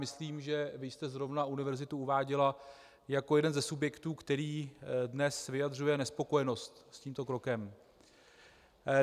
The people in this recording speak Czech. Myslím, že vy jste zrovna univerzitu uváděla jako jeden ze subjektů, který dnes vyjadřuje nespokojenost s tímto krokem.